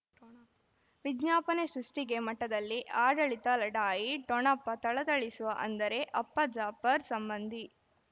ವಿಜ್ಞಾಪನೆ ಸೃಷ್ಟಿಗೆ ಮಠದಲ್ಲಿ ಆಡಳಿತ ಲಢಾಯಿ ಠೊಣಪ ಥಳಥಳಿಸುವ ಅಂದರೆ ಅಪ್ಪ ಜಾಫರ್ ಸಂಬಂಧಿ